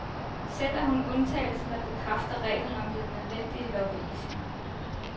Selv er hun undtagelsen, der bekræfter reglen om den nødvendige lobbyisme.